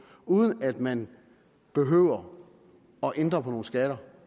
uden at man behøver at ændre på nogle skatter